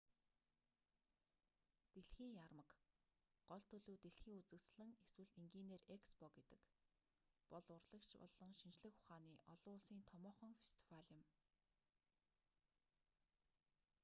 дэлхийн яармаг гол төлөв дэлхийн үзэсгэлэн эсвэл энгийнээр экспо гэдэг бол урлаг болон шинжлэх ухааны олон улсын томоохон фестивал юм